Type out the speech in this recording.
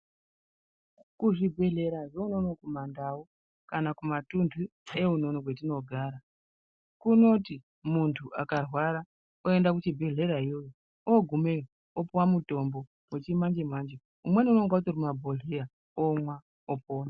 Kuzvigwehlera zveunono kumandau ,kana kumatundu eunono kwatinogara kunoti muntu akarwara oenda kuchigwehlera ugumeyo opihwa mutambo wechimanje manje umweni unonga uri mumabhogwehleya omwa opora .